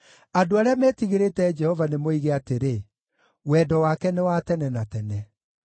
Andũ arĩa metigĩrĩte Jehova nĩmoige atĩrĩ, “Wendo wake nĩ wa tene na tene.”